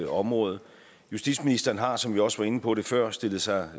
område justitsministeren har som vi også var inde på det før stillet sig